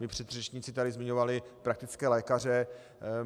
Mí předřečníci tady zmiňovali praktické lékaře.